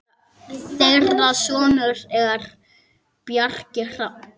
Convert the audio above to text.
Þeirra sonur er Bjarki Hrafn.